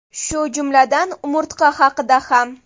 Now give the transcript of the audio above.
Shu jumladan umurtqa haqida ham.